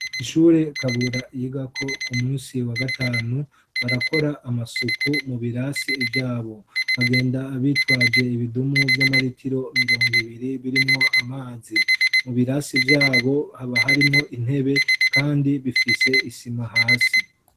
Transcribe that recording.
Ishure kabura yigako ku munsi wa gatanu barakora amasuku mu birasi vyabo bagenda bitwaje ibidumu by'amaritiro mirongo ibiri birimwo amazi mu birasi vyabo haba harimwo intebe kandi bifise isima hasi.